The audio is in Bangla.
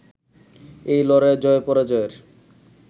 এই লড়াইয়ের জয়পরাজয়ের